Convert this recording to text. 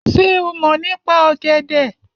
Ṣé o mọ̀ nípa ọ̀gẹ̀dẹ̀?